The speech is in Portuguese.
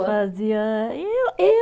Fazia, e o, e